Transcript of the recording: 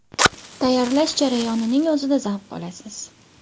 Tayyorlash jarayoning o‘zida zavq olasiz.